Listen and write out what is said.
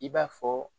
I b'a fɔ